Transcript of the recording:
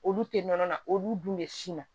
Olu tɛ nɔnɔ na olu dun bɛ sin na